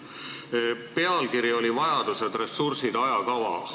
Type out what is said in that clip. Selle pealkiri on "Vajadused, ressursid, ajakava".